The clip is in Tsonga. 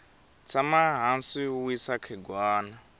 tshama hansi u wisa khegwana